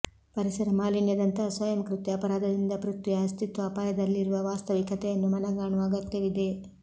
ಪರಿಸರ ಮಾಲಿನ್ಯದಂತಹ ಸ್ವಯಂಕೃತ್ಯ ಅಪರಾಧದಿಂದ ಪ್ರಥ್ವಿಯ ಅಸ್ತಿತ್ವ ಅಪಾಯದಲ್ಲಿರುವ ವಾಸ್ತವಿಕತೆಯನ್ನು ಮನಗಾಣುವ ಅಗತ್ಯವಿದೆ